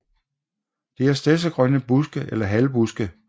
Det er stedsegrønne buske eller halvbuske